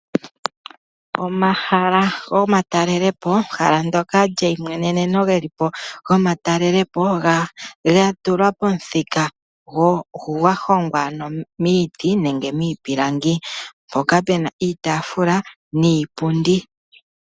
Omahala gomatalelopo, ehala ndyoka lyeimweneneno ge li po gomatalelopo ga tulwa pomuthika gwa hongwa miiti nenge miipilangi. Mpoka pu na iitaafula niipundi.